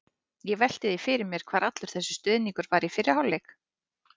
Ég velti því fyrir mér hvar allur þessi stuðningur var í fyrri hálfleik?